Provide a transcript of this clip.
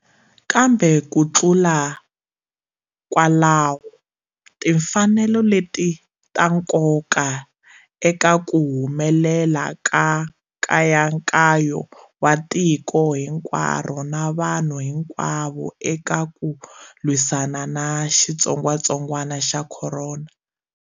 Kambe ku tlula kwalaho, timfanelo leti ta nkoka eka ku humelela ka nkayankayo wa tiko hinkwaro na vanhu hinkwavo eka ku lwisana na xitsongwatsongwana xa corona.